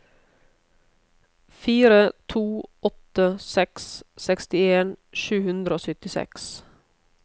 fire to åtte seks sekstien sju hundre og syttiseks